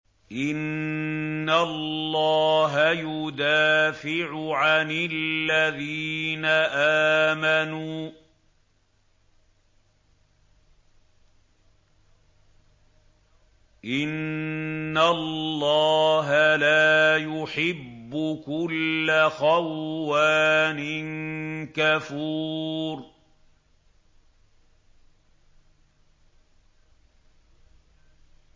۞ إِنَّ اللَّهَ يُدَافِعُ عَنِ الَّذِينَ آمَنُوا ۗ إِنَّ اللَّهَ لَا يُحِبُّ كُلَّ خَوَّانٍ كَفُورٍ